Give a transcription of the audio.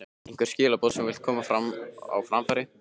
Einhver skilaboð sem þú vilt koma á framfæri?